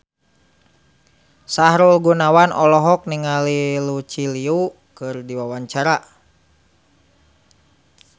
Sahrul Gunawan olohok ningali Lucy Liu keur diwawancara